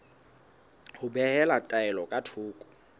ho behela taelo ka thoko